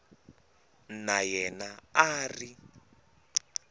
na yena a a ri